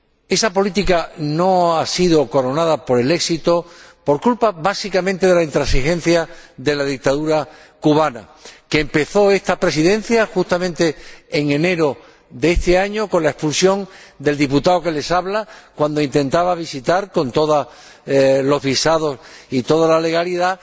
Esa política no se ha visto sido coronada por el éxito, básicamente por culpa de la intransigencia de la dictadura cubana, que empezó esta Presidencia justamente en enero de este año con la expulsión del diputado que les habla cuando intentaba visitar la isla, con todos los visados y toda la legalidad,